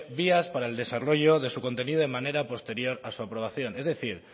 vías para el desarrollo de su contenido de manera posterior a su aprobación es decir